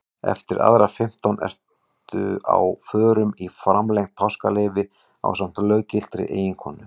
Eftir aðra fimmtán ertu á förum í framlengt páskaleyfi ásamt löggiltri eiginkonu.